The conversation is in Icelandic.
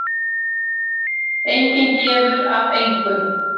Enginn gefur af engu.